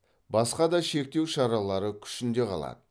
басқа да шектеу шаралары күшінде қалады